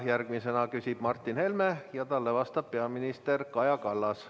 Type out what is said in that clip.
Järgmisena küsib Martin Helme ja talle vastab peaminister Kaja Kallas.